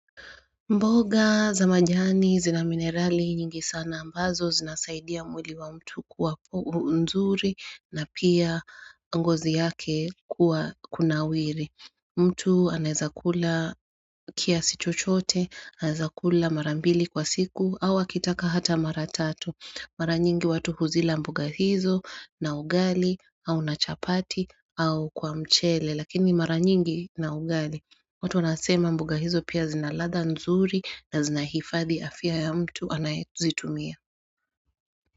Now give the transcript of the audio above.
Mboga za majani zina minerali nyingi sana ambazo zinasaidia mwili wa mtu kuwa nzuri na pia ngozi yake kuwa kunawiri. Mtu anezakula kiasi chochote, anezakula mara mbili kwa siku au akitaka hata mara tatu. Mara nyingi watu huzila mboga hizo na ugali au nachapati au kwa mchele lakini mara nyingi na ugali. Watu nasema mbuga hizo pia zinaladha nzuri na zinahifadhi afia ya mtu anayetuzitumia.